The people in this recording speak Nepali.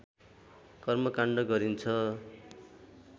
कर्मकाण्ड गरिन्छ